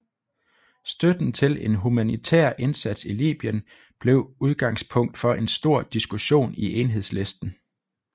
Støtten til en humanitær indsats i Libyen blev udgangspunkt for en stor diskussion i Enhedslisten